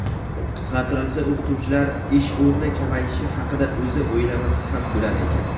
qisqartirilsa o‘qituvchilar ish o‘rni kamayishi haqida esa o‘ylamasa ham bo‘lar ekan.